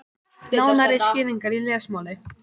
Nánari skýringar í lesmáli.